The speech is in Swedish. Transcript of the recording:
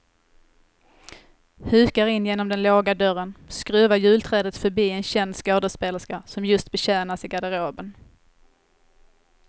Hukar in genom den låga dörren, skruvar julträdet förbi en känd skådespelerska som just betjänas i garderoben.